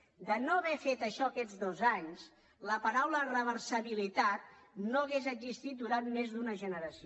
si no haguéssim fet això aquests dos anys la paraula reversibilitat no hauria existit durant més d’una generació